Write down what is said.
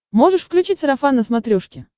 можешь включить сарафан на смотрешке